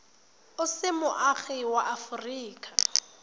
o se moagi wa aforika